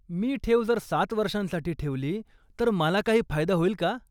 मी ठेव जर सात वर्षांसाठी ठेवली, तर मला काही फायदा होईल का?